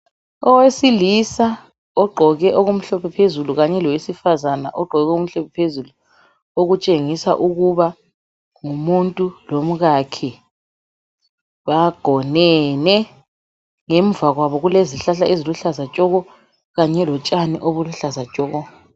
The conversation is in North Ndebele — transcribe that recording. Owesilisa ogqoke okumhlophe phezulu kanye lowesifazana ogqoke okumhlophe phezulu okutshengisa ukuba ngumuntu lomkakhe bagonene. Ngemva kwabo kulezihlahla eziluhlaza tshoko kanye lotshani obuluhlaza tshoko.